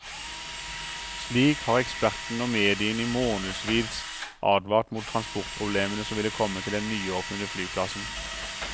Slik har ekspertene og mediene i månedsvis advart mot transportproblemene som ville komme til den nyåpnede flyplassen.